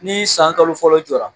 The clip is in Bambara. Ni san kalo fɔlɔ jɔla